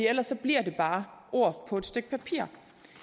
ellers bliver det bare ord på et stykke papir